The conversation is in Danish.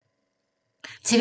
TV 2